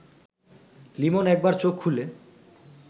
লিমন একবার চোখ খুলে